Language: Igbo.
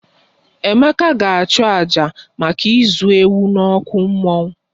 Emeka ga achu àjà maka ịzụ ewu n'okwu mmụọ